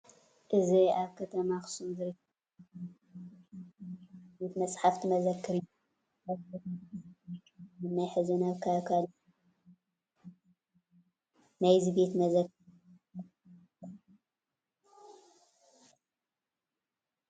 እዚ ኣብ ከተማ ኣክሱም ዝርከብ ናይ ግሊ ፋውንዴሽን ዝባሃል ዓብይ ቤተ መፃሓፍቲ መዝክር እዩ፡፡ ኣብዚ ቦታ ብዙሓት ናይ ቀደምን ናይ ሕዝን ካብ ካሊእ ቦታ ዘይርከቡ መፅሓፍቲ ዝርከብዎ እዩ፡፡ ናብዚ ቤተ መዘክር እዚ ኣቲኹም ዶ ትፈልጡ?